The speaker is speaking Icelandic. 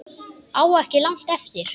Á ekki langt eftir